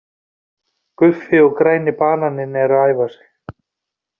Guffi og græni bananinn eru að æfa sig.